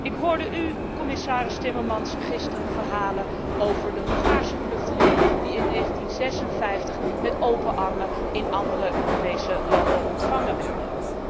Ik hoorde u, commissaris Timmermans, gisteren verhalen over de Hongaarse vluchtelingen die in 1956 met open armen in andere Europese landen ontvangen werden.